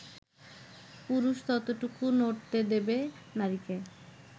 পুরুষ ততটুকুই নড়তে দেবে নারীকে